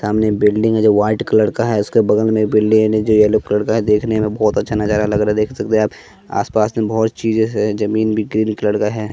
सामने बिल्डिंग है जो व्हाइट कलर का है उसके बगल में बिल्डिंग जो येलो कलर का है देखने में बहोत अच्छा नजारा लग रहा है देख सकते हैं आप आसपास में बहुत चीजें है जमीन भी ग्रीन कलर का है।